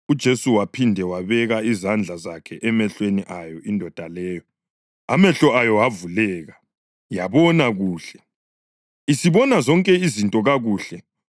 UJesu waphinde wabeka izandla zakhe emehlweni ayo indoda leyo. Amehlo ayo avuleka, yabona kuhle, isibona zonke izinto kakuhle.